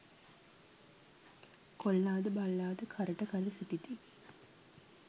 කොල්ලා ද බල්ලා ද කරට කර සිටිති.